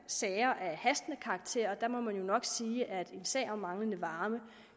sager af hastende karakter og der må man jo nok sige at en sag om manglende varme